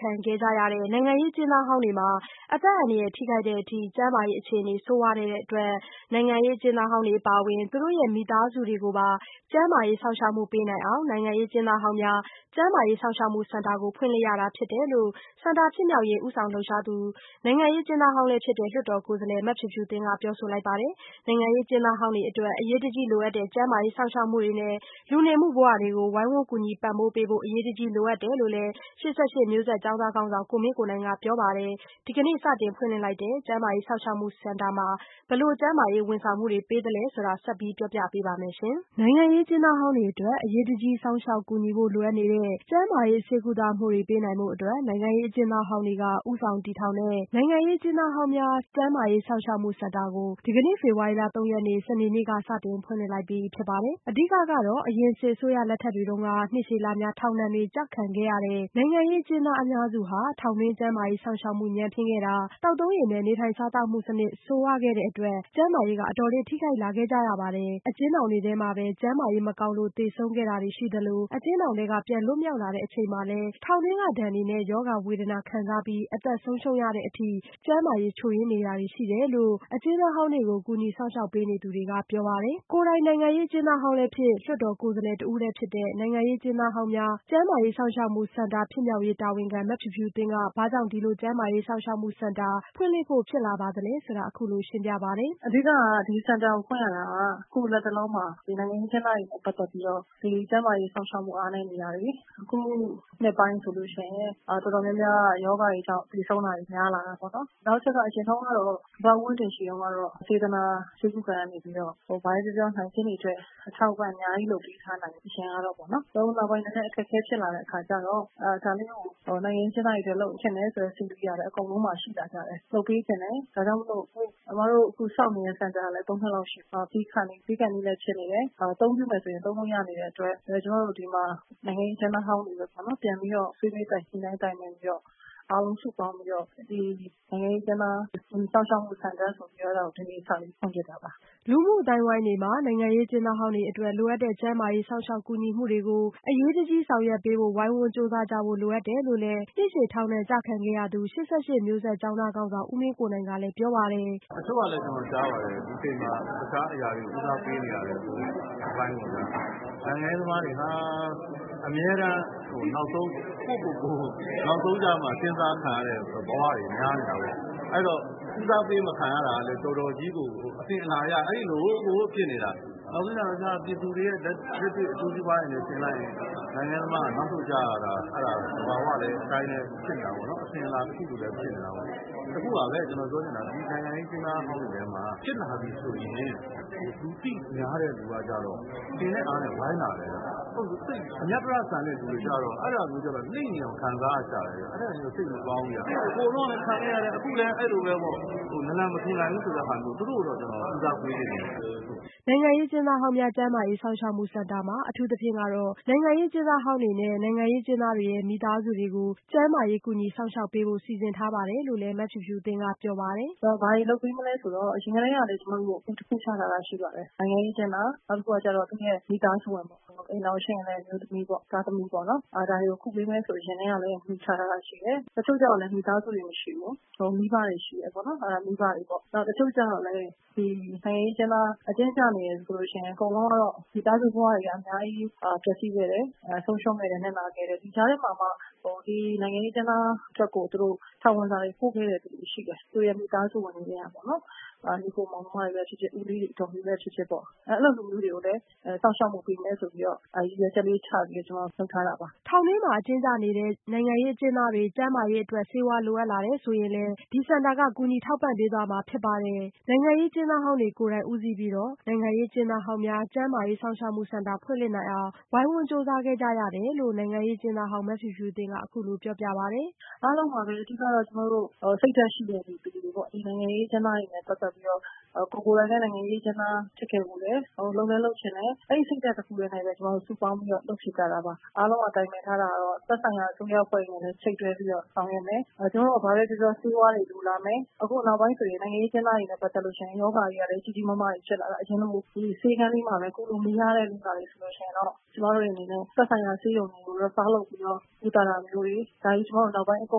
ခံခဲ့ရတဲ့ နိုင်ငံရေးအကျဉ်းသားဟောင်းတွေမှာ အသက်အန္တရာယ် ထိခိုက်တဲ့အထိ ကျန်းမာရေးအခြေအနေ ဆိုးဝါးမှုတွေရှိနေတဲ့အတွက် နိုင်ငံရေး အကျဉ်းသားတွေ အပါအဝင် သူတို့ရဲ့မိသားစုတွေကိုပါ ကျန်းမာရေးစောင့်ရှောက်မှုတွေ ပေးနိုင်အောင် နိုင်ငံရေး အကျဉ်းသားဟောင်းများ ကျန်းမာရေးစောင့်ရှောက်မှုစင်တာကို ဖွင့်လှစ်ရတာဖြစ်တယ်လို့ စင်တာဖြစ်မြောက်ရေး ဦးဆောင် လှုပ်ရှားတဲ့ နိုင်ငံရေးအကျဉ်းသားဟောင်းလည်းဖြစ်တဲ့ လွှတ်တော်ကိုယ်စားလှယ် မဖြူဖြူသင်းက ပြောဆိုလိုက်ပါတယ်။ နိုင်ငံရေး အကျဉ်းသားဟောင်းတွေအတွက် အရေးတကြီးလိုအပ်တဲ့ ကျန်းမာရေး စောင့်ရှောက်မှုတွေနဲ့ လူနေမှုဘဝ အခက်အခဲမရှိဖို့အတွက် ဝိုင်းဝန်းကူညီပံ့ပိုးပေးဖို့ အရေးတကြီးလိုအပ်တယ်လို့လည်း ၈၈မျိုးဆက်ကျောင်းသားခေါင်းဆောင်ကိုမင်းကိုနိုင်ကလည်း ပြောပါတယ်။ ဒီကနေ့ စတင်ဖွင့်လှစ်လိုက်တဲ့ နိုင်ငံရေးအကျဉ်းသားဟောင်းများ ကျန်းမာရေးစောင့်ရှောက်မှုစင်တာမှာ ဘယ်လိုကျန်းမာရေး စောင့်ရှောက်မှုတွေပေးပါသလဲဆိုတာ မဆုမွန်က အပြည့်အစုံတင်ပြပေးပါမယ်။ ဟုတ်ပါတယ်။ နိုင်ငံရေးအကျဉ်းသားဟောင်းတွေအတွက် အရေးတကြီးစောင့်ရှောက် ကူညီဖို့လိုအပ်နေတဲ့ ကျန်းမာရေးဆေးကုသမှုတွေ ပေးနိုင်ဖို့အတွက် နိုင်ငံရေးအကျဉ်းသားဟောင်းတွေက ဦးဆောင်တည်ထောင်တဲ့ နိုင်ငံရေးအကျဉ်းသားဟောင်းများ ကျန်းမာရေး စောင့်ရှောက်မှုစင်တာ (HCPP- Healthcare Center Political Prisoners) ကို ဒီကနေ့ ဖေဖော်ဝါရီလ ၃ရက်နေ့ စနေနေ့ က စတင်ဖွင့်လှစ်လိုက်ပြီဖြစ်ပါတယ်။ အဓိကကတော့ အရင်စစ်အစိုးရလက်ထက်က နှစ်ရှည်လများ ထောင်ဒဏ်တွေကျခံခဲ့ရတဲ့ နိုင်ငံရေးအကျဉ်းသားအများစုမှာ ထောင်တွင်း ကျန်းမာရေးစောင့်ရှောက်မှု ညံ့ဖျင်းခဲ့တာ သောက်သုံးရေနဲ့ နေထိုင်စားသောက်မှုတွေ ဆိုးရွားခဲ့တဲ့အတွက် ကျန်းမာရေးတွေ အတော်လေး ထိခိုက်လာခဲ့ရပါတယ်။ အကျဉ်းထောင်ထဲမှာပဲ ကျန်းမာရေးမကောင်းလို့ သေဆုံးခဲ့ရတာတွေရှိသလို အကျဉ်းထောင်ထဲကပြန်လွတ်မြောက်လာချိန်တွေမှာလည်း ထောင်ဒဏ်တွေနဲ့ ရောဂါဝေဒနာတွေခံစားခဲ့ရပြီး အသက်ဆုံးရှုံးရတဲ့အထိ ကျန်းမာရေးချို့ယွင်းခဲ့ရတာတွေ ရှိတယ်လို့ အကျဉ်းသားဟောင်းတွေကို ကူညီစောင့်ရှောက်ပေးနေသူတွေက ပြောပါတယ်။ ကိုယ်တိုင် နိုင်ငံရေးအကျဉ်းသားဟောင်းလည်းဖြစ် လွှတ်တော်ကိုယ်စားလှယ် တဦးလည်းဖြစ်တဲ့ နိုင်ငံရေးအကျဉ်းသားဟောင်းများ ကျန်းမာရေးစောင့်ရှောက်မှုစင်တာ ဖြစ်မြောက်ရေး တာဝန်ခံ မဖြူဖြူသင်းက ဘာကြောင့် ဒီလိုကျန်းမာရေးစောင့်ရှောက်မှုစင်တာ ဖွင့်လှစ်ဖို့ ဖြစ်လာသလဲဆိုတာ အခုလို ရှင်းပြပါတယ်။ “အဓိက ဒီစင်တာကိုဖွင့်ရတာက အခုလတ်တလောမှာ နိုင်ငံရေးအကျဉ်းသားတွေနဲ့ ပတ်သက်ပြီးတော့ ကျန်းမာရေးစောင့်ရှောက်မှု အားနည်းနေတာ၊ အခုနှစ်ပိုင်းဆိုလိုရှိလျှင်၊ တော်တော်များများက ရောဂါတွေကြောင့် သေဆုံးတာတွေ များလာတာပေါ့။ နောက်တချက်က ဘဘဦးဝင်းတင်ရှိတုန်းကတော့ စေတနာ ဆေးကုခန်းကနေပြီးတော့ ၊ ဘာပဲပြောပြောနိုင်ကျဉ်းတွေအတွက် အထောက်အပံ့အများကြီး လုပ်ပေးထားနိုင်တယ်၊ အရင်ကပေါ့နော်။ အခုနောက်ပိုင်း နည်းနည်းအခက်အခဲဖြစ်လာတဲ့အခါကျတော့ ၊ ဒါလေးကို နိုင်ငံရေးအကျဉ်းသားတွေအတွက် လုပ်ချင်တယ်ဆိုတဲ့စိတ်က အကုန်လုံးမှာရှိလာကြတယ်။ လုပ်ပေးချင်တယ်။ ဒါကြောင့်မို့လို့၊ ကျမတို့ အခုဆောက်နေတဲ့စင်တာကလည်း ၃ နှစ်လောက်ရှိပြီဆိုတော့ ပြီးခါနီးဖြစ်နေတယ်။ အသုံးပြုမယ်ဆိုလို့ရှိလျှင်လည်း၊ သုံးလို့ရနေတဲ့အတွက် ကျမတို့ဒီမှာ နိုင်ငံရေးအကျဉ်းသားဟောင်းတွေပြန်ပြီးတော့ ဆွေးနွေးညှိနှိုင်းတိုင်ပင်ပြီး၊ အားလုံးစုပေါင်းပြီးတော့ နိုင်ငံရေးအကျဉ်းသားစောင့်ရှောက်မှုစင်တာဆိုပြီး၊ ဒီနေ့စပြီး ဖွင့်ဖြစ်တာပါ။” လူမှုအသိုင်းဝိုင်းတွေမှာ နိုင်ငံရေးအကျဉ်းသားဟောင်းအတွက် လိုအပ်တဲ့ ကျန်းမာရေး စောင့်ရှောက်ကူညီမှုတွေကို အရေးတကြီး ဆောင်ရွက်ပေးဖို့ ဝိုင်းဝန်းကြိုးစားကြဖို့ လိုအပ်တယ်လို့လည်း နှစ်ရှည်ထောင်ဒဏ်ကျခံခဲ့ရသူ ၈၈မျိုးဆက် ကျောင်းသားခေါင်းဆောင် ဦးမင်းကိုနိုင်ကလည်း ပြောပါတယ်။ " တချို့ကလည်း ကျနော်ကြားပါတယ် ဒီအချိန်မှာ တခြားအရာတွေကို ဦးစားပေးနေရတယ်ဆိုတဲ့အပိုင်းပေါ့ဗျာ။ နိုင်ငံရေးသမားတွေဟာ အမြဲတမ်း နောက်ဆုံး ကိုယ့်ကိုကိုယ် နောက်ဆုံးကျမှ စဉ်းစားခံရတဲ့ဘဝတွေ များပါတယ်။ အဲ့တာ့ ဦးစားပေးမခံရတာကလည်း တော်တော်ကြီးကို အစဉ်အလာအရ အဲ့လိုကို ဖြစ်နေတာ။ နောက်ဆုံးကျတော့ဗျာ ပြည်သူတွေရဲ့ လက်တွေ့ အကျိုးစီးပွားတွေနဲ့ ယှဉ်လိုက်ရင် နိုင်ငံရေးသမားက နောက်ဆုတ်လိုက်ကြရတာ အဲ့တာက သဘာဝအတိုင်းပဲ အစဉ်အလာတခုလိုဖြစ်နေတာပေ့ါ။ တခုပါပဲ ကျနော်ပြောချင်တာက နိုင်ငံရေးသမားဟောင်းတွေထဲမှာ ဖြစ်လာပြီဆိုရင် လူသိများတဲ့သူကကျတော့ အင်နဲ့ အားနဲ့ ဝိုင်းလာတယ်ဗျ။ သိပ်လူသိမများတဲ့ အသြတရလိုလူမျိုးကျတော့ အဲ့တာမျိုးကျတော့ လှိမ့်နေအောင် ခံစားရတယ်ဗျ။ အဲ့တာတော့ စိတ်မကောင်းဘူးဗျ ဟိုတုန်းကလည်း ခံခဲ့ရတယ် အခုလည်း အဲ့လိုပဲပေါ့။ နလူမထူနိုင်ဘူးဆိုတဲ့ပုံစံမျိုး သူတို့ကိုတော့ ကျနော် ဦးစားပေးစေချင်တယ်။" နိုင်ငံရေးအကျဉ်းသားဟောင်းများ ကျန်းမာရေးစောင့်ရှောက်မှုစင်တာ မှာ အထူးသဖြင့် နိုင်ငံရေးအကျဉ်းသားတွေနဲ့ နိုင်ငံရေးအကျဉ်းသားတွေ မိသားစုတွေကို ကျန်းမာရေး ကူညီစောင့်ရှောက်မှုပေးဖို့စီစဉ်ထားတယ်လို့လည်း မဖြူဖြူသင်းက ပြောပြပါတယ်။ “အိမ်ထောင်ရှိလျှင်လည်း၊ အမျိုးသမီးပေါ့၊ သားသမီးပေါ့။ ဒါတွေကို ကုပေးမယ်ဆိုတဲ့ မူချထားတာရှိတယ်။ တချို့ကျတော့လည်း မိသားစုတွေ မရှိဘူး၊ မိဘတွေရှိတယ်။ တချို့ကျတော့လည်း နိုင်ငံရေးအကျဉ်းသားအကျဉ်းကျနေတယ်ဆိုလို့ရှိလျှင်၊ အကုန်လုံးကတော့ မိသားစုဘဝတွေက အများကြီး ပျက်စီးခဲ့တယ်၊ ဆုံးရှုံးခဲ့တယ်၊ နစ်နာခဲ့တယ်။ ကြားထဲမှာမှ ဒီနိုင်ငံရေးအကျဉ်းသားတွေအတွက်ကို ထောင်ဝင်စာပို့ခဲ့တဲ့သူတွေရှိတယ်။ သူတို့ရဲ့ မိသားစုဝင်တွေထဲကပေါ့နော်၊ ညီအစ်ကိုမောင်နှမတွေပဲဖြစ်ဖြစ်၊ ဦးလေး အဒေါ်တွေပဲဖြစ်ဖြစ်၊ အဲဒီလိုလူမျိုးတွေကိုလည်း စောင့်ရှောက်မှုပေးမယ်ဆိုပြီး ရည်ရွယ်ချက်လေးချပြီးတော့ ၊ ကျမတို့လုပ်ထားတာပါ။” ထောင်တွင်းအကျဉ်းကျနေတဲ့ နိုင်ငံရေးအကျဉ်းသားတွေ ကျန်းမာရေးအတွက် ဆေးဝါးလိုအပ်ပါကလည်း ကူညီထောက်ပံ့ပေးသွားမှာဖြစ်ပါတယ်။ ကျန်းမာရေးစောင့်ရှောက်မှု အရေးတကြီးလိုအပ်လာတဲ့အတွက် နိုင်ငံရေးအကျဉ်းသားဟောင်းတွေကိုယ်တိုင်ဦးဆောင်ပြီး နိုင်ငံရေးအကျဉ်းသားဟောင်းများ ကျန်းမာရေးစောင့်ရှောက်မှုစင်တာ ဖွင့်လှစ်နိုင်အောင် ကြိုးစားခဲ့ကြတာဖြစ်တယ်လို့လည်း နိုင်ငံရေးအကျဉ်းသားဟောင်းမဖြူဖြူသင်းက အခုလိုပြောပြပါတယ်။ “အားလုံးပါပဲ။ အဓိက ကတော့ ကျမတို့ စိတ်ဓါတ်ရှိတဲ့လူတွေပေါ့။ နိုင်ငံရေးအကျဉ်းသားတွေနဲ့ ပတ်သက်ပြီးတော့၊ ကိုယ်ကိုယ်တိုင်လည်း နိုင်ငံရေးအကျဉ်းသားဖြစ်ခဲ့ဖူးတယ်။ လုပ်လည်းလုပ်ချင်တယ်။ အဲဒီစိတ်ဓါတ်တခုတည်းနဲ့ပဲ ကျမတို့ စုပေါင်းပြီးတော့ လုပ်ဖြစ်ကြတာပါ။ အားလုံးက တိုင်ပင်ထားတာတော့ သက်ဆိုင်ရာ အစိုးရအဖွဲ့တွေနဲ့လည်း ချိတ်တွဲပြီးတော့ ဆောင်ရွက်မယ်။ ကျမတို့က ဘာပဲပြောပြော၊ ဆေးဝါးတွေလိုလာမယ်၊ အခုနောက်ပိုင်းဆိုရင် နိုင်ငံရေးအကျဉ်းသားတွေနဲ့ ပတ်သက်လို့ရှိလျှင်၊ ရောဂါတွေကလည်း ကြီးကြီးမားမားတွေ ဖြစ်လာတာ၊ အရင်လို ဆေးခန်းလေးမှာပဲ၊ ကုလို့မရတဲ့ကိစ္စတွေဆိုလိုရှိလျှင်တော့ ၊ သက်ဆိုင်ရာဆေးရုံကို refer လုပ်ပြီးတော့ ကုသတာမျိုးတွေ၊ ကျမတို့ နောက်ပိုင်း အကု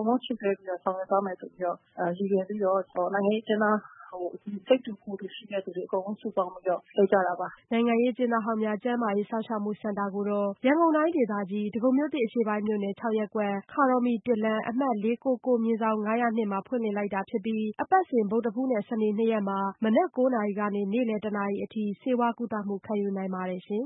န်လုံးချိတ်တွဲပြီးတော့ ဆောင်ရွက်သွားမယ်လို့ ရည်ရွယ်ပြီးတော့ နိုင်ငံရေးအကျဉ်းသား စိတ်တူကိုယ်တူ ရှိတဲ့သူတွေအကုန်လုံးစုပေါင်းပြီးတော့ လုပ်ကြတာပါ။” နိုင်ငံရေးအကျဉ်းသားဟောင်းများ ကျန်းမာရေးစောင့်ရှောက်မှုစင်တာကို ရန်ကုန်တိုင်းဒေသကြီး ဒဂုံမြို့သစ်အရှေ့ပိုင်းမြို့နယ်၊ ့ရပ်ကွက်၊ ခါတော်မှီ လမ်း ၊ အမှတ် ၄၉၉/၅၀၂ မှာ ဖွင့်လှစ်လိုက်တာဖြစ်ပြီး အပတ်စဉ် ဗုဒ္ဓဟူးနှင့် စနေ နှစ်ရက်တွင် နံနက် ၉း၀၀နာရီမှ နေ့လည် ၁း၀၀ နာရီအထိ ဆေးကုသမှုခံယူနိုင်ပါတယ်ရှင်